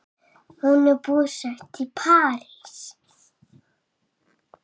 Hún er búsett í París.